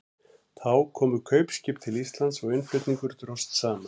Þá komu fá kaupskip til Íslands og innflutningur dróst saman.